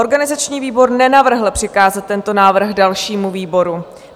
Organizační výbor nenavrhl přikázat tento návrh dalšímu výboru.